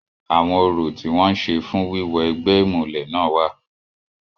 Àwọn orò tí wọ́n ń ṣe fún wíwọ egbẹ́ ìmùlẹ̀ náà wà.